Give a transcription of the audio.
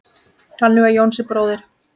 Þannig var Jónsi bróðir.